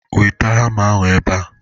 Weta hama ahụ ebe a!